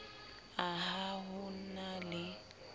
a ha ho na le